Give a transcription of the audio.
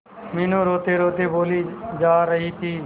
मीनू रोतेरोते बोली जा रही थी